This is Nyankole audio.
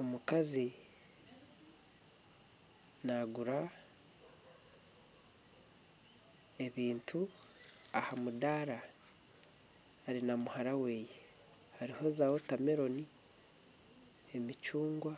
Omukazi naagura ebintu aha mudaara ari na muhara weye . Hariho za wotameloni, emicungwa ,